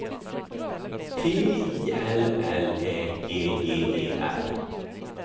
T I L L Ä G G E R